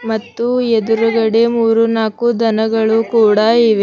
ಮತ್ತು ಎದುರುಗಡೆ ಮೂರು ನಾಲ್ಕು ದನಗಳು ಕೂಡ ಇವೆ.